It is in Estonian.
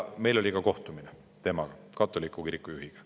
Meil oli temaga kohtumine, katoliku kiriku juhiga.